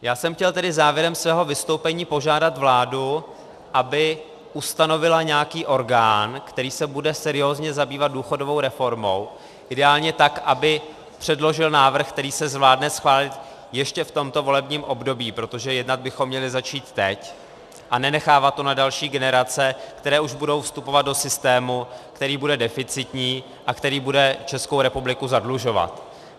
Já jsem chtěl tedy závěrem svého vystoupení požádat vládu, aby ustanovila nějaký orgán, který se bude seriózně zabývat důchodovou reformou, ideálně tak, aby předložil návrh, který se zvládne schválit ještě v tomto volebním období, protože jednat bychom měli začít teď a nenechávat to na další generace, které už budou vstupovat do systému, který bude deficitní a který bude Českou republiku zadlužovat.